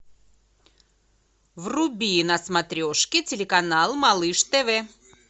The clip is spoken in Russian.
вруби на смотрешке телеканал малыш тв